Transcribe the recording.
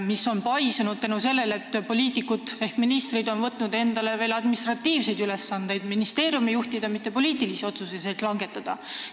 See on paisunud selle tõttu, et poliitikud ehk ministrid on võtnud endale veel administratiivseid ülesandeid, ministeeriumi juhtida, mitte poliitilisi otsuseid langetada.